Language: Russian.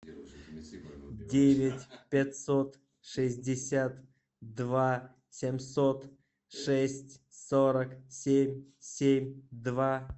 девять пятьсот шестьдесят два семьсот шесть сорок семь семь два